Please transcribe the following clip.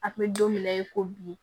A kun bɛ don min na i ko bi